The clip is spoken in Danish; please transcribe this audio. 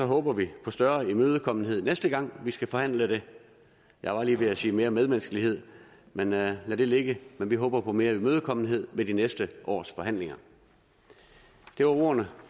håber vi på større imødekommenhed næste gang vi skal forhandle det jeg var lige ved at sige mere medmenneskelighed men lad det ligge men vi håber på mere imødekommenhed ved de næste års forhandlinger det var ordene